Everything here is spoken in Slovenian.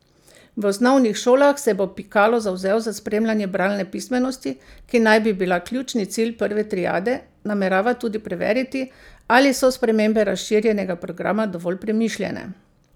V osnovnih šolah se bo Pikalo zavzel za spremljanje bralne pismenosti, ki naj bi bila ključni cilj prve triade, namerava tudi preveriti, ali so spremembe razširjenega programa dovolj premišljene.